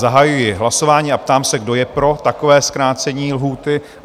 Zahajuji hlasování a ptám se, kdo je pro takové zkrácení lhůty?